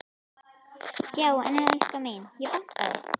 Já en elskan mín. ég bankaði!